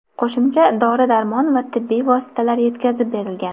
Qo‘shimcha dori-darmon va tibbiy vositalar yetkazib berilgan.